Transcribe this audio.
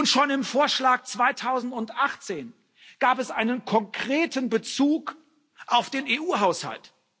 Schon im Vorschlag 2018 gab es einen konkreten Bezug auf den EU Haushalt.